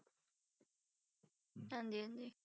ਹਾਂਜੀ ਹਾਂਜੀ।